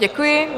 Děkuji.